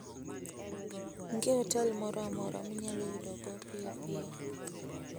Onge otel moro amora minyalo yudogo piyo piyo.